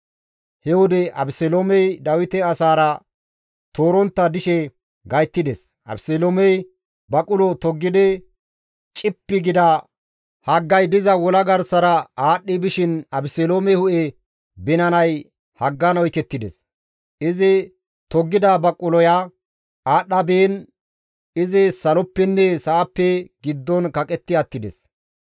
He wode Abeseloomey Dawite asaara toorontta dishe gayttides; Abeseloomey baqulo toggidi cippi gida haggay diza wola garsara aadhdhi bishin Abeseloome hu7e binanay haggan oykettides; izi toggida baquloya aadhdha biin izi saloppenne sa7appe giddon kaqetti attides.